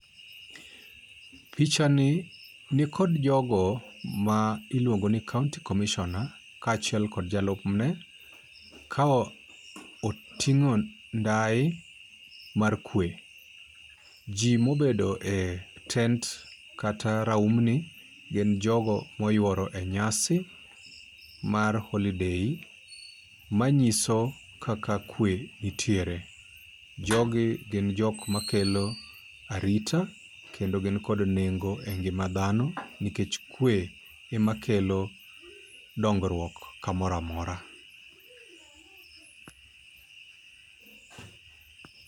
Picha ni nikod jogo ma iluongo ni County commissioner, ka achiel kod jalup ne, ka oting'o ndai mar kwe. Ji mobedo e tent kata raum ni gin jogo moyuoro e nyasi mar holiday ma nyiso kaka kwe nitiere. Jogi gin jok makelo arita kendo gin kod nengo e ngima dhano nikech kwe e ma kelo dongruok kamoramora.